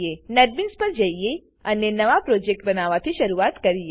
ચાલો હવે નેટબીન્સ પર જઈએ અને નવા પ્રોજેક્ટ બનાવવાથી શરૂઆત કરીએ